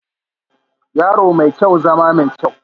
Yaro mai kyau, ya zama mai kyau